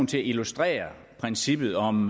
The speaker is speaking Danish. til at illustrere princippet om